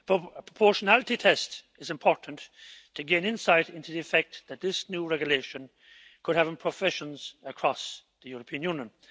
A proportionality test is important to gain insight into the effect that this new regulation could have in professions across the European Union.